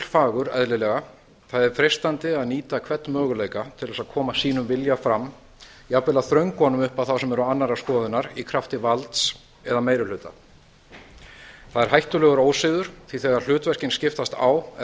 fagur eðlilega það er freistandi að nýta hvern möguleika til að koma sínum vilja fram jafnvel að þröngva honum upp á þá sem eru annarrar skoðunar í krafti valds eða meiri hluta það er hættulegur ósiður því að þegar hlutverkin skiptast á er hætt